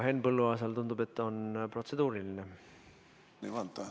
Henn Põlluaasal, tundub, on protseduuriline.